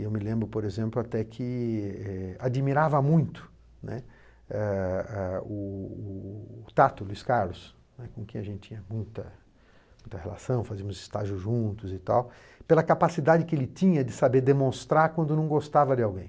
Eu me lembro, por exemplo, até que eh admirava muito, né, eh eh o o Tato, Luís Carlos, com quem a gente tinha muita muita relação, fazíamos estágio juntos e tal, pela capacidade que ele tinha de saber demonstrar quando não gostava de alguém.